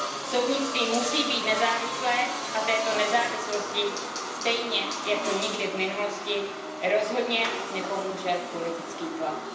Soudnictví musí být nezávislé a této nezávislosti stejně jako nikdy v minulosti rozhodně nepomůže politický tlak.